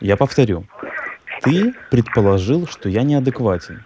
я повторю ты предположил что я неадекватен